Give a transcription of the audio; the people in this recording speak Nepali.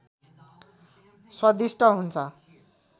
स्वादिष्ट हुन्छ